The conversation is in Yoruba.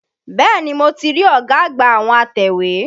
Bẹ́ẹ̀ni, mo ti rí ọ̀gá àgbà àwọn atẹ̀wé.